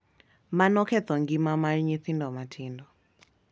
Mano ketho ngima mar nyithindo matindo.